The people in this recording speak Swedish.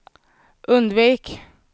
undvik